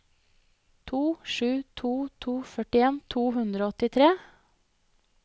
to sju to to førtien to hundre og åttitre